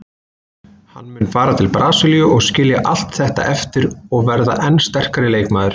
Hann mun fara til Brasilíu og skilja allt þetta eftir og verða enn sterkari leikmaður.